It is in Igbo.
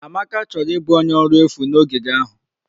Amaka chọrọ ịbụ onye ọrụ efu na ogige ahụ.